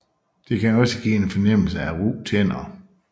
Det kan også give en fornemmelse af ru tænder